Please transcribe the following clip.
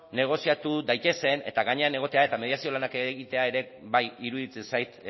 negoziatu daitezen eta gainean egotea eta mediazio lanak egitea bai ere bai iruditzen zait